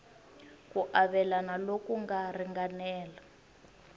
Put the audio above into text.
ku avelana loku nga ringanela